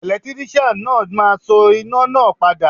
Ẹ̀lẹ́tíríṣàn náà máa so iná náà padà.